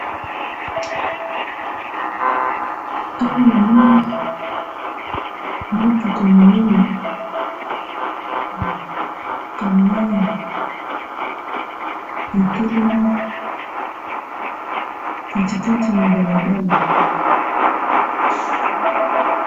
Awa namoni mutuka munene, camion etelemi katikati nabalabala.